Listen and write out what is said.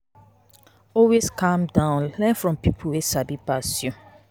Always calm down learn from pipo wey sabi pass you.